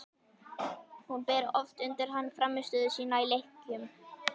Hún ber oft undir hann frammistöðu sína í leikjum.